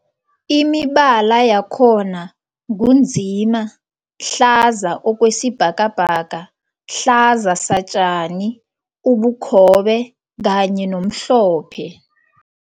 Imibala yakhona ngu nzima, hlaza okwesibhakabhaka, hlaza satjani, ubukhobe kanye nomhlophe.